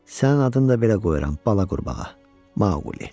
Sənin adın da belə qoyuram, bala qurbağa: Maquli.